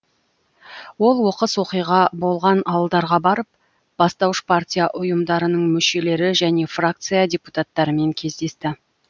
ол оқыс оқиға болған ауылдарға барып бастауыш партия ұйымдарының мүшелері және фракция депутаттарымен кездесті